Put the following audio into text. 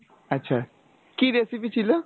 আচ্ছা কী recipe ছিল ?